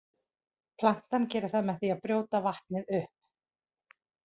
Plantan gerir það með því að brjóta vatnið upp.